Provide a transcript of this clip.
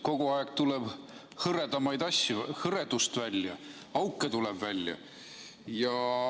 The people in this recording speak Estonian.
Kogu aeg tuleb hõredamaid asju, hõredust välja, auke tuleb välja.